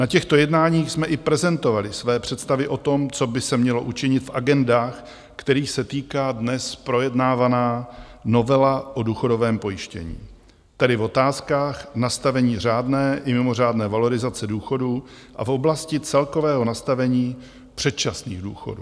Na těchto jednáních jsme i prezentovali své představy o tom, co by se mělo učinit v agendách, kterých se týká dnes projednávaná novela o důchodovém pojištění, tedy v otázkách nastavení řádné i mimořádné valorizace důchodů a v oblasti celkového nastavení předčasných důchodů.